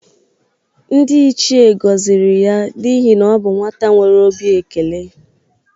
Ndị ichie gọzịrị ya n'ihe na ọ bụ nwata nwere obi ekele.